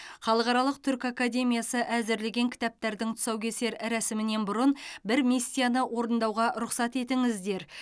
халықаралық түркі академиясы әзірлеген кітаптардың тұсаукесер рәсімінен бұрын бір миссияны орындауға рұқсат етіңіздер